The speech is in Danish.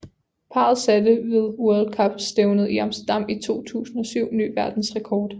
Parret satte wed World Cup stævnet i Amsterdan i 2007 ny verdensrekord